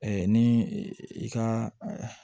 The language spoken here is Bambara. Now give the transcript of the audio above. ni i ka